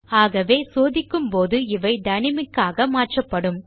ஆகவே சோதிக்கும் போது இவை டைனாமிக் ஆக மாற்றப்படும்